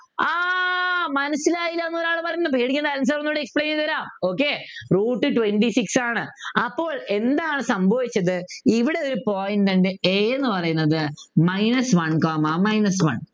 മനസിലായില്ല ന്നു ഒരാള് പറയുന്നുണ്ട് പേടിക്കേണ് answer ഒന്നുകൂടെ Explain ചെയ്തുതരാം okay Root twenty six ആണ് അപ്പോൾ എന്താണ് സംഭവിച്ചത് ഇവിടെ ഒരു point ഉണ്ട് A എന്ന് പറയുന്നത് minus one comma minus one